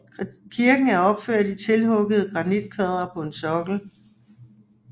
Kirken er opført i tilhuggede granitkvadre på en sokkel